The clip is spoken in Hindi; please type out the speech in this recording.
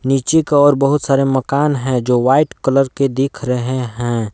नीचे की ओर बहुत सारे मकान है जो व्हाइट कलर के दिख रहे हैं।